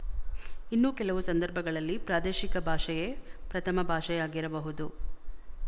ಇನ್ನೂ ಕೆಲವು ಸಂದರ್ಭಗಳಲ್ಲಿ ಪ್ರಾದೇಶಿಕ ಭಾಷೆಯೇ ಪ್ರಥಮ ಭಾಷೆಯಾಗಿರಬಹುದು